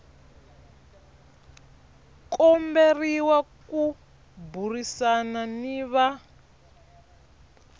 komberiwa ku burisana ni va